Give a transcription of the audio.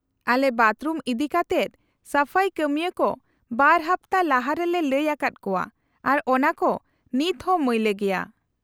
-ᱟᱞᱮ ᱵᱟᱛᱷᱨᱩᱢ ᱤᱫᱤᱠᱟᱛᱮᱫ ᱥᱟᱯᱷᱟᱭ ᱠᱟᱹᱢᱤᱭᱟᱹ ᱠᱚ ᱵᱟᱨ ᱦᱟᱯᱛᱟ ᱞᱟᱦᱟ ᱨᱮᱞᱮ ᱞᱟᱹᱭ ᱟᱠᱟᱫᱟ ᱠᱚᱣᱟ ᱟᱨ ᱚᱱᱟᱠᱚ ᱱᱤᱛᱦᱚᱸ ᱢᱟᱹᱭᱞᱟᱹ ᱜᱮᱭᱟ ᱾